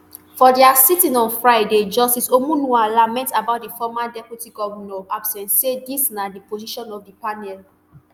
for dia sitting on friday justice omonua lament about di former deputy govnor absence say dis na di position of di panel